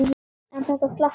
En þetta slapp fyrir horn.